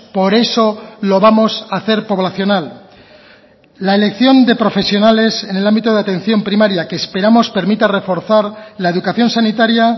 por eso lo vamos hacer poblacional la elección de profesionales en el ámbito de atención primaria que esperamos permita reforzar la educación sanitaria